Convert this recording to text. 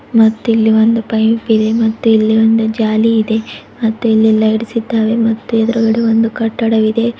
ಮತ್ತಿಲ್ಲಿ ಒಂದು ಪೈಪ್ ಇದೆ ಮತ್ತೆ ಇಲ್ಲಿ ಒಂದು ಜಾಲಿ ಇದೆ ಮತ್ತೆ ಇಲ್ಲಿ ಲೈಟ್ಸ್ ಇದ್ದಾವೆ ಮತ್ತೆ ಎದುರುಗಡೆ ಒಂದು ಕಟ್ಟಡವಿದೆ.